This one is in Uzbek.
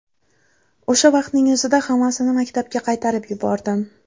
O‘sha vaqtning o‘zida hammasini maktabga qaytarib yubordim.